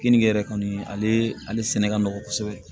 Keninge yɛrɛ kɔni ale sɛnɛ ka nɔgɔ kosɛbɛ